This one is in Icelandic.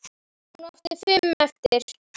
Hún átti fimm eftir.